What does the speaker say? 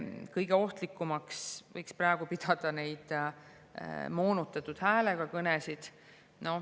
Kõige ohtlikumaks võiks praegu pidada moonutatud häälega kõnesid.